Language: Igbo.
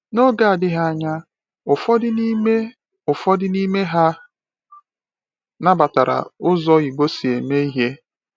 N’oge adịghị anya, ụfọdụ n’ime ụfọdụ n’ime ha nabatara ụzọ Igbo si eme ihe.